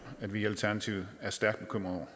at vi i alternativet er stærkt bekymrede